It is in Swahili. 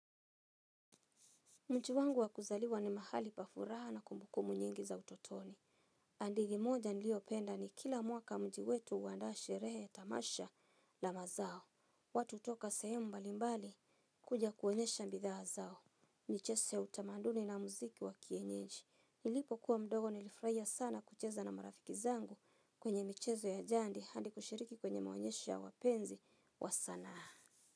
Mji wangu wa kuzaliwa ni mahali pa furaha na kumbukumbu nyingi za utotoni. Hadithi moja niliyopenda ni kila mwaka mji wetu huanda sherehe, tamasha la mazao. Watu hutoka sehemu mbalimbali kuja kuonyesha bidhaa zao. Michezo ya utamaduni na muziki wa kienyeji nilipokuwa mdogo nilifurahia sana kucheza na marafiki zangu kwenye michezo ya jadi hadi kushiriki kwenye maonyesho ya wapenzi wa sanaa.